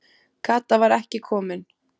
Kata var ekki komin.